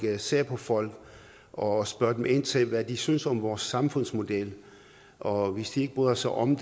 ser på folk og spørger ind til hvad de synes om vores samfundsmodel og hvis de ikke bryder sig om